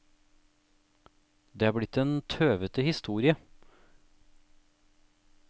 Det er blitt en tøvete historie.